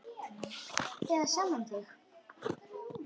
Eða sjálfan þig.